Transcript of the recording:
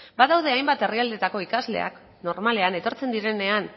badaude hainbat herrialdetako ikasleak normalean etortzen direnean